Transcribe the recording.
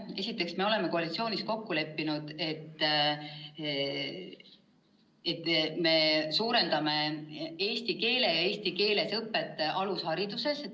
Esiteks, me oleme koalitsioonis kokku leppinud, et suurendame eesti keele õpet ja eesti keeles õpet alushariduses.